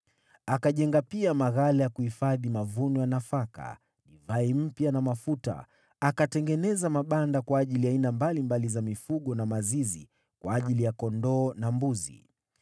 Akajenga pia maghala ya kuhifadhi mavuno ya nafaka, divai mpya na mafuta. Akatengeneza mabanda kwa ajili ya aina mbalimbali za mifugo, na mazizi kwa ajili ya kondoo na mbuzi.